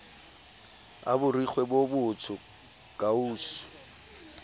a borikgwe bo botsho kausu